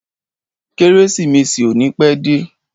Kérésìmesì ò ní pẹ́ dé.